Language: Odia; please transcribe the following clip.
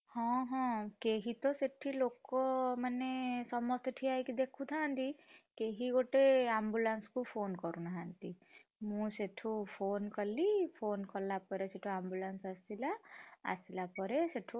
ହଁ ହଁ କେହି ତ ସେଠି ଲୋକମାନେ ସମସ୍ତେ ଠିଆହେଇ ଦେଖୁଥାନ୍ତି। କେହି ଗୋଟେ ambulance କୁ phone କରୁନାହାନ୍ତି! ମୁଁ ସେଠୁ phone କଲି phone କଲାପରେ ସେଠୁ ambulance ଆସିଲା, ଆସିଲା ପରେ ସେଠୁ।